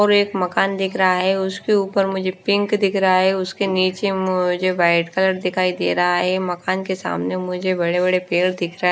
और एक मकान दिख रहा है उसके ऊपर मुझे पिंक दिख रहा है उसके नीचे मुझे व्हाइट कलर दिखाई दे रहा है मकान के सामने मुझे बड़े बड़े पेड़ दिख रहा है।